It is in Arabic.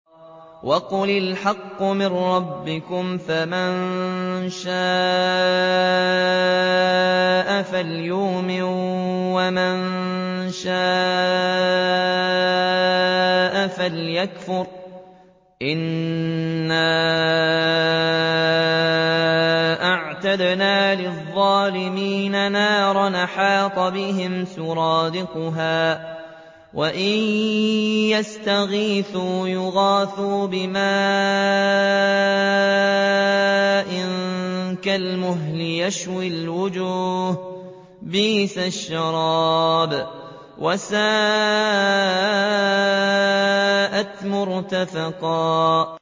وَقُلِ الْحَقُّ مِن رَّبِّكُمْ ۖ فَمَن شَاءَ فَلْيُؤْمِن وَمَن شَاءَ فَلْيَكْفُرْ ۚ إِنَّا أَعْتَدْنَا لِلظَّالِمِينَ نَارًا أَحَاطَ بِهِمْ سُرَادِقُهَا ۚ وَإِن يَسْتَغِيثُوا يُغَاثُوا بِمَاءٍ كَالْمُهْلِ يَشْوِي الْوُجُوهَ ۚ بِئْسَ الشَّرَابُ وَسَاءَتْ مُرْتَفَقًا